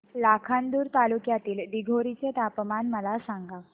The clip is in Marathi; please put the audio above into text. लाखांदूर तालुक्यातील दिघोरी चे तापमान मला सांगा